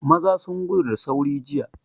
Maza sun gudu da sauri jiya.